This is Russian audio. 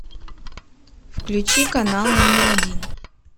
включи канал номер один